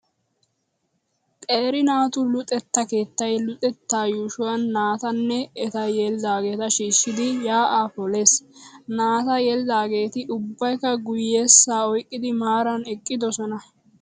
Qeera naatu luxetta keettaay luxettaa yuushuwan naata nne eta yelidaageeta shiishshidi yaa'aa polees. Naata yelidaageeti ubbaykka guyyessaa oyqqidi maaraara eqqidosona.